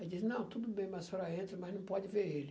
Aí disse, não, tudo bem, mas a senhora entra, mas não pode ver ele.